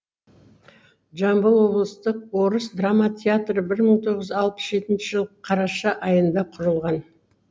жамбыл облыстық орыс драма театры бір мың тоғыз жүз алпыс жетінші жылы қараша айында құрылған